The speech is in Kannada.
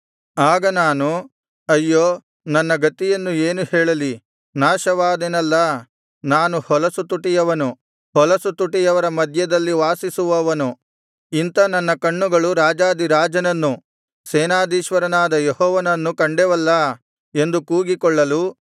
ಆಗ ನಾನು ಅಯ್ಯೋ ನನ್ನ ಗತಿಯನ್ನು ಏನು ಹೇಳಲಿ ನಾಶವಾದೆನಲ್ಲಾ ನಾನು ಹೊಲಸು ತುಟಿಯವನು ಹೊಲಸು ತುಟಿಯವರ ಮಧ್ಯದಲ್ಲಿ ವಾಸಿಸುವವನು ಇಂಥ ನನ್ನ ಕಣ್ಣುಗಳು ರಾಜಾಧಿರಾಜನನ್ನು ಸೇನಾಧೀಶ್ವರನಾದ ಯೆಹೋವನನ್ನು ಕಂಡೆವಲ್ಲಾ ಎಂದು ಕೂಗಿಕೊಳ್ಳಲು